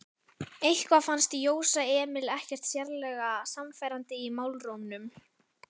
Eitthvað fannst Jósa Emil ekkert sérlega sannfærandi í málrómnum.